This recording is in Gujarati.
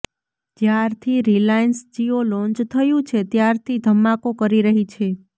જ્યારથી રિલાયન્સ જિયો લોન્ચ થયું છે ત્યારથી ધમાકો કરી રહી છે